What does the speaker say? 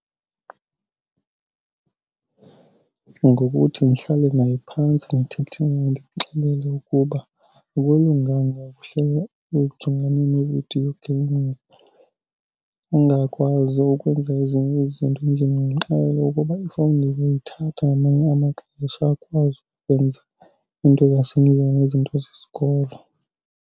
Ngokuthi ndihlale naye phantsi ndithethe naye, ndimxelele ukuba akulunganga uhlele ujongane nee-video games angakwazi ukwenza ezinye izinto endlini. Ndimxelele ukuba ifowuni ndizoyithatha ngamanye amaxesha akwazi ukwenza iinto zasendlini nezinto zesikolo.